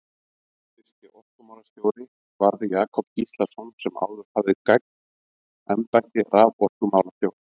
Fyrsti orkumálastjóri varð Jakob Gíslason sem áður hafði gegnt embætti raforkumálastjóra.